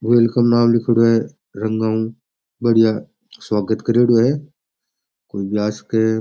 Welcome नाम लिखेड़ो है रंगाऊ बढ़िया स्वागत करेडो है कोई भी आ सके है।